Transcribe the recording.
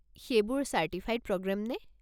সেইবোৰ certified programme নে?